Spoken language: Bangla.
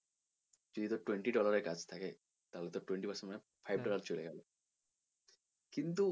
যদি তোর twenty dollar এর কাজ থাকে তাহলে তোর twenty percent মানে five dollar চলে গেলো কিন্তু,